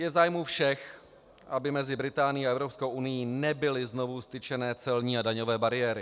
Je v zájmu všech, aby mezi Británií a Evropskou unií nebyly znovu vztyčeny celní a daňové bariéry.